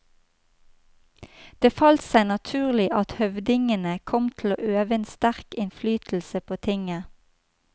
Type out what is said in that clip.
Det falt seg naturlig at høvdingene kom til å øve en sterk innflytelse på tinget.